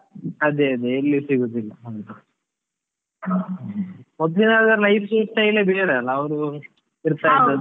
ಅದೇ ಅದೇ ಎಲ್ಲಿ ಸಿಗುದಿಲ್ಲ, ಮೊದ್ಲಿದ್ ಆದ್ರೆ life style ಎಲ್ಲಾ ಬೇರೆ ಅಲಾ ಅವ್ರು ತಿರುಗ್ತಾ ಇದ್ದದ್ದು.